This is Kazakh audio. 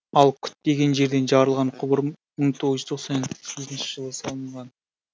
ал күтпеген жерден жарылған құбыр мың тоғыз жүз тоқсан жетінші жылы салынған